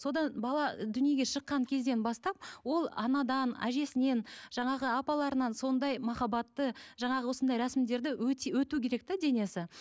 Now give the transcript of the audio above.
содан бала дүниеге шыққан кезден бастап ол анадан әжесінен жаңағы апаларынан сондай махаббатты жаңағы осындай рәсімдерді өту керек те денесі